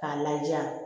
K'a laja